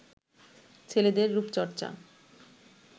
ছেলেদের রুপচর্চা